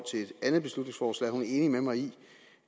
et andet beslutningsforslag er enig med mig i